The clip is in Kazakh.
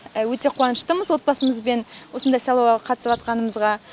өте қуаныштымыз отбасымызбен осындай сайлауға қатысыбатқанымызға